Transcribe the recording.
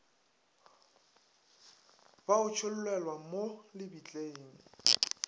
bo a tšhollelwa mo lebitleng